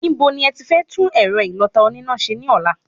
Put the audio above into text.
Ibo ni ẹti fẹ́ tún ẹ̀rọ ìlọta oníná ṣe ní ọ̀la?